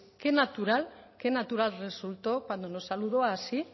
qué natural qué natural resultó cuando nos saludó así